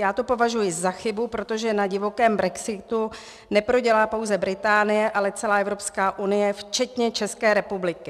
Já to považuji za chybu, protože na divokém brexitu neprodělá pouze Británie, ale celá Evropská unie včetně České republiky.